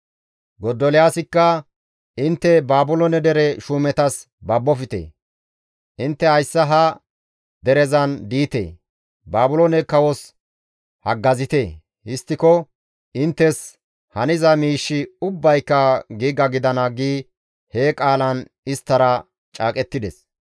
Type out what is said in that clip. Gadoliyaasikka, «Intte Baabiloone dere shuumetas babbofte; intte hayssa ha derezan diite; Baabiloone kawos haggazite; histtiko inttes haniza miishshi ubbayka giiga gidana» gi he qaalan isttara caaqettides.